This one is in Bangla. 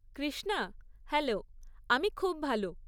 কৃষ্ণা, হ্যালো। আমি খুব ভালো।